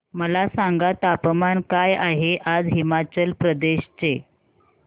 मला सांगा तापमान काय आहे आज हिमाचल प्रदेश चे